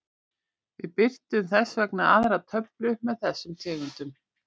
Við birtum þess vegna aðra töflu með þessum tegundum.